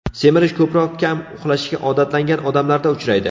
Semirish ko‘proq kam uxlashga odatlangan odamlarda uchraydi.